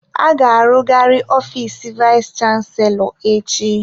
A ga-arụzigharị ofiis vayis chansilọ echi.